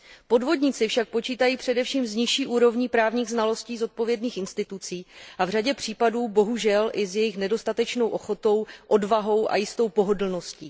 Podvodníci však počítají především s nižší úrovní právních znalostí zodpovědných institucí a v řadě případů, bohužel, i s jejich nedostatečnou ochotou, odvahou a jistou pohodlností.